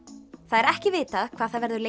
það er ekki vitað hvað það verður